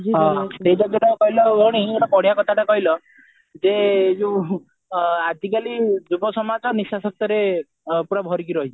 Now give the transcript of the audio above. ହଁ ସେଇଟା ଯଉଟା କହିଲ ଭଉଣୀ ଗୋଟେ ବଢିଆ କଥାଟେ କହିଲ ଯେ ଏଇ ଯୋଉ ଆଜିକାଲି ଯୁବୋସମାଜ ନିସଶକ୍ତିରେ ପୁରା ଭରି କି ରହିଛି